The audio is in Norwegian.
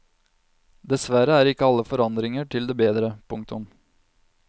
Dessverre er ikke alle forandringer til det bedre. punktum